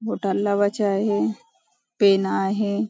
बोटाला लावायच आहे पेन आहे.